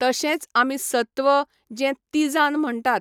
तशेंच आमी सत्व, जें तिझान म्हणटात.